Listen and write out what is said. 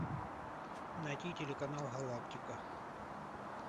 найти телеканал галактика